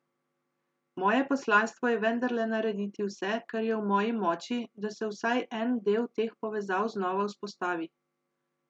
Moje poslanstvo je vendarle narediti vse, kar je v moji moči, da se vsaj en del teh povezav znova vzpostavi.